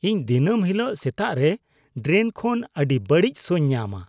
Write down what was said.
ᱤᱧ ᱫᱤᱱᱟᱹᱢ ᱦᱤᱞᱳᱜ ᱥᱮᱛᱟᱜᱨᱮ ᱰᱨᱮᱱ ᱠᱷᱚᱱ ᱟᱹᱰᱤ ᱵᱟᱹᱲᱤᱡ ᱥᱚᱧ ᱧᱟᱢᱼᱟ ᱾